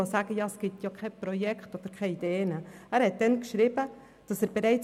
Ich sage das gerade für diejenigen, die der Meinung sind, es gebe keine Projekte und keine Ideen.